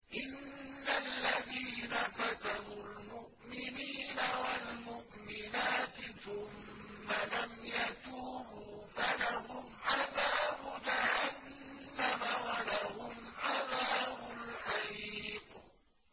إِنَّ الَّذِينَ فَتَنُوا الْمُؤْمِنِينَ وَالْمُؤْمِنَاتِ ثُمَّ لَمْ يَتُوبُوا فَلَهُمْ عَذَابُ جَهَنَّمَ وَلَهُمْ عَذَابُ الْحَرِيقِ